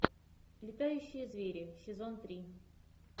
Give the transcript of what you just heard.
летающие звери сезон три